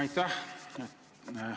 Aitäh!